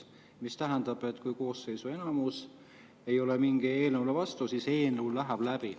See tähendab, et kui koosseisu enamus ei ole mingile eelnõule vastu, siis see eelnõu läheb läbi.